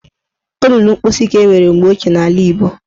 Olulu mposi ka enwere mgbe ochie n'ala Igbo